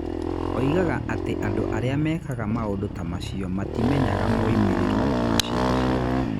Oigaga atĩ andũ arĩa mekaga maũndũ ta macio matimenyaga moimĩrĩro ma ciĩko ciao